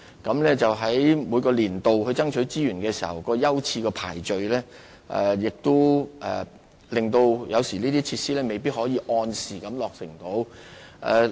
然而，在每個年度爭取資源時，有關設施的優次排序有時會導致這些設施未必能夠按時落成。